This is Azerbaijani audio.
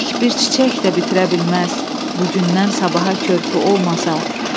Dilək bir çiçək də bitirə bilməz bu gündən sabaha körpü olmasa.